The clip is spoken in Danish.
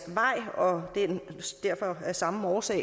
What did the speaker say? vej og af samme årsag